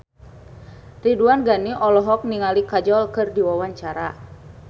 Ridwan Ghani olohok ningali Kajol keur diwawancara